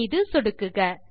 மீது சொடுக்குக